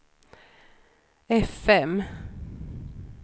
fm